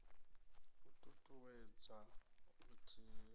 u t ut uwedza vhuthihi